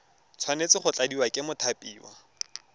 tshwanetse go tladiwa ke mothapiwa